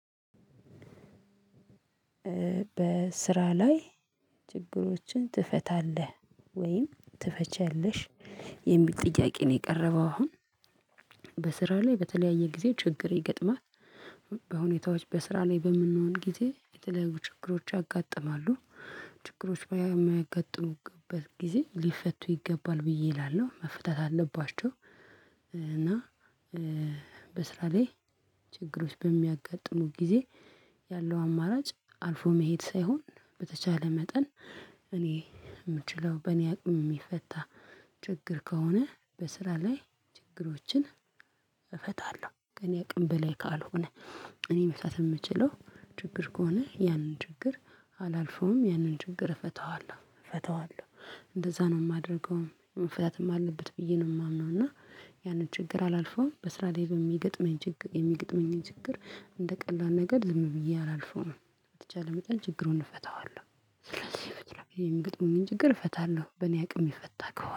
በስራ ላይ ችግሮችን ትፈታለህ ወይም ትፈቻለሽ የሚል ጥያቄ ነው? የቀረበው አሁን በስራ ላይ በተለያየ ጊዜ ችግር ይገጥማት በሁኔታዎች በስራ ላይ በምንሆን ጊዜ የተለያዩ ችግሮች ያጋጥማሉ ችግሮች በሚያጋጥሙበት ጊዜ ሊፈቱ ይገባል ብዬ እላለሁ መፈታት አለባቸው። እና በስራ ላይ ችግሮች በሚያጋጥሙን ጊዜ ያለው አማራጭ አልፎ መሄድ ሳይሆን በተቻለ መጠን እኔ የምችለው በእኔ አቅም የሚፈታ። ችግር ከሆነ በስራ ላይ ችግሮችን እፈታለሁ ከኔ አቅም በላይ ካልሆነ እኔ መፍታት የምችለው ችግር ከሆነ ያንን ችግር አላልፈውም ያንን ችግር እፈታዋለሁ እፈታዋለሁ እንደዛ ነው የማደርገው መፍታትም አለበት ብዬ ነው የማምነው። እና ያንን ችግር አላልፈውም በስራ ላይ በሚገጥመኝ ችግር የሚገጥመኝ ችግር እንደ ቀላል ነገር ልም ብዬ አላልፍም በተቻለ መጠን ችግሩን እፈታዋለሁ። ስለዚህ የሚገጥሙን ችግር እፈታለሁ በኔ አቅም የሚፈታ ከሆነ